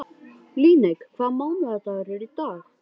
Líneik, hvaða mánaðardagur er í dag?